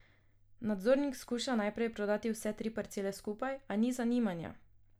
Nadzornik skuša najprej prodat vse tri parcele skupaj, a ni zanimanja.